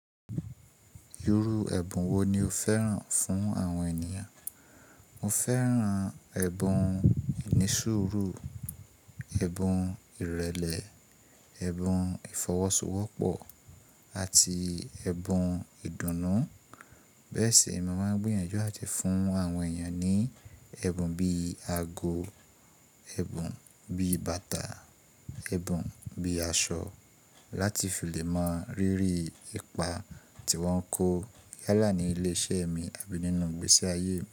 Irú ẹbun wo ni o fẹ́ràn fún àwọn ènìyàn? Mo fẹ́ràn ẹbun ìní sùúrù, ẹbun ìrẹlẹ, ẹbun ìfọwọ́sowọ́pọ̀ àti ẹbun ìdùnnú. Bẹ́ẹ̀ sì, mo máa ń gbìyànjú àti fún àwọn ènìyàn ní ẹbun bí li ago, ẹbun bíi bàtà, ẹbun bíi aṣọ láti fi lè mọ rírì ipa tí wọ́n ń kó yálà ní ilé ìṣẹ́ mi àbí nínú ìgbésí ayé mi.